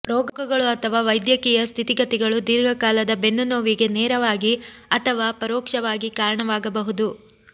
ರೋಗಗಳು ಅಥವಾ ವೈದ್ಯಕೀಯ ಸ್ಥಿತಿಗತಿಗಳು ದೀರ್ಘಕಾಲದ ಬೆನ್ನುನೋವಿಗೆ ನೇರವಾಗಿ ಅಥವಾ ಪರೋಕ್ಷವಾಗಿ ಕಾರಣವಾಗಬಹುದು